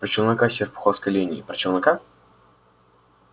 про челнока с серпуховской линии про челнока